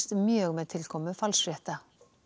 mjög með tilkomu